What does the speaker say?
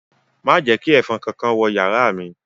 Ma je ​​ki èfọn kánkán wo yàrá mi